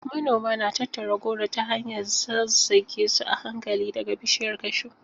Manoma na tattara goro ta hanyar zazzage su a hankali daga bishiyar cashew.